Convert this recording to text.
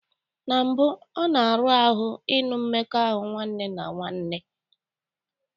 Na mbụ, ọ na-arụ ahụ ịnụ mmekọahụ nwanne na nwanne.